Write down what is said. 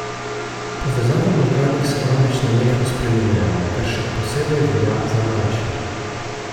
Povezave v možganih se namreč nenehno spreminjajo, kar še posebej velja za mlajše.